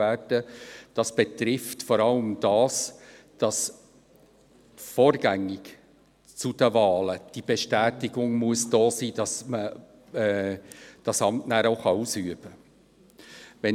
Dies betrifft vor allem, dass die Bestätigung vor den Wahlen vorliegen muss, sodass man das Amt denn auch ausüben kann.